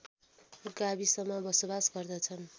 गाविसमा बसोवास गर्दछन्